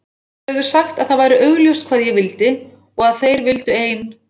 Þeir höfðu sagt að það væri augljóst hvað ég vildi og að þeir vildu ein